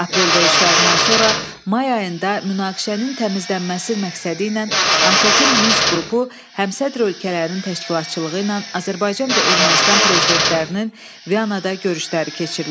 Aprel döyüşlərindən sonra may ayında münaqişənin təmizlənməsi məqsədi ilə ATƏT-in Minsk qrupu həmsədr ölkələrin təşkilatçılığı ilə Azərbaycan və Ermənistan prezidentlərinin Vyanada görüşləri keçirildi.